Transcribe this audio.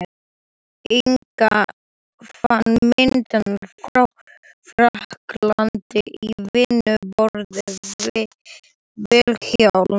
Inga fann myndirnar frá frakklandi á vinnuborði Vilhjálms.